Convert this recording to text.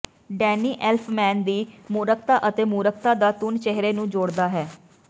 Danny Elfman ਦੀ ਮੂਰਖਤਾ ਅਤੇ ਮੂਰਖਤਾ ਦਾ ਧੁਨ ਚਿਹਰੇ ਨੂੰ ਜੋੜਦਾ ਹੈ